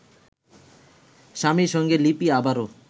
স্বামীর সঙ্গে লিপি আবারও